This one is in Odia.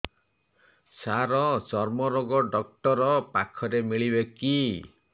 ସାର ଚର୍ମରୋଗ ଡକ୍ଟର ପାଖରେ ମିଳିବେ କି